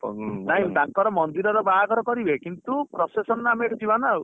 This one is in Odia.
ନାଇଁ ତାଙ୍କର ମନ୍ଦିର ର ବାହାଘର କରିବେ କିନ୍ତୁ procession ଆମେ ଏଇଠୁ ଜୀବାନା ଆଉ